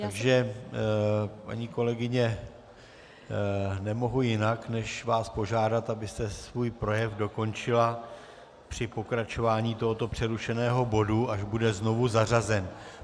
Takže paní kolegyně, nemohu jinak než vás požádat, abyste svůj projev dokončila při pokračování tohoto přerušeného bodu, až bude znovu zařazen.